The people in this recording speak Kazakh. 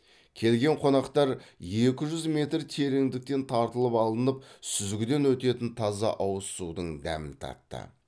келген қонақтар екі жүз метр тереңдіктен тартылып алынып сүзгіден өтетін таза ауыз судың дәмін татты